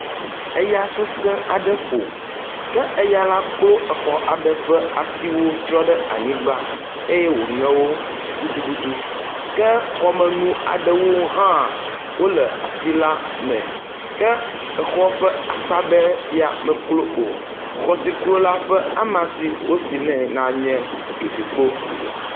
Eya sese aɖe ƒo ke eya la klo exɔ aɖe ƒe atiwo trɔ ɖe anyigba eye woŋe wo gudugudu ke xɔmenu aɖewo hã wo le ati la me ke exɔ ƒe akpa ɖe ya me meklo o. Xɔ si klo la ƒe ama si wosi nɛ nye dzofikpo.